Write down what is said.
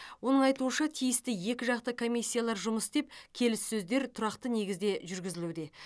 оның айтуынша тиісті екі жақты комиссиялар жұмыс істеп келіссөздер тұрақты негізде жүргізілуде